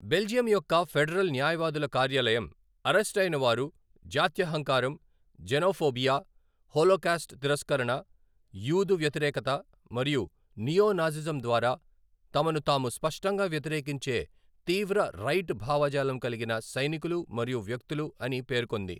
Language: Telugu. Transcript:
బెల్జియం యొక్క ఫెడరల్ న్యాయవాదుల కార్యాలయం, అరెస్టయిన వారు 'జాత్యహంకారం, జెనోఫోబియా, హోలోకాస్ట్ తిరస్కరణ, యూదు వ్యతిరేకత మరియు నియో నాజిజం ద్వారా తమను తాము స్పష్టంగా వ్యక్తీకరించే తీవ్ర రైట్ భావజాలం కలిగిన సైనికులు మరియు వ్యక్తులు' అని పేర్కొంది.